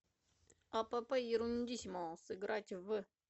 апп ерундиссимо сыграть в